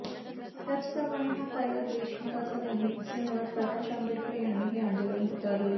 त्याच प्रमाणे हा कायदा देशहिताचा नाही असे म्हणत प्रकाश आंबेडकर यांनीही आंदोलन पुकारले